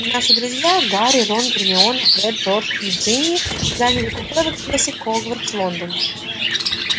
и наши друзья гарри рон гермиона фред джордж и джинни заняли купе в экспрессе хогвартс лондон